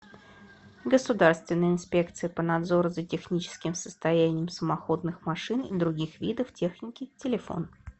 государственная инспекция по надзору за техническим состоянием самоходных машин и других видов техники телефон